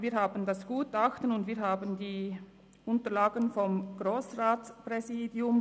Wir haben das Gutachten, und wir haben die Unterlagen des Grossratspräsidiums.